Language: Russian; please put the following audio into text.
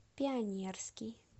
пионерский